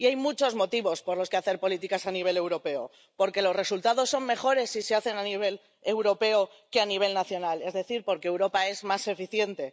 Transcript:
Y hay muchos motivos por los que hacer políticas a nivel europeo porque los resultados son mejores si se hacen a nivel europeo que a nivel nacional, es decir, porque Europa es más eficiente